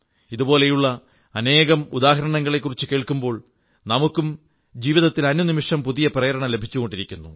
ഇതുപോലുള്ള അനേകം ഉദാഹരണങ്ങളെക്കുറിച്ചു കേൾക്കുമ്പോൾ നമുക്കും ജീവിതത്തിൽ അനുനിമിഷം പുതിയ പ്രേരണ ലഭിച്ചുകൊണ്ടിരിക്കുന്നു